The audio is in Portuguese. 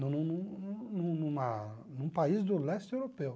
Num num num numa num país do leste europeu.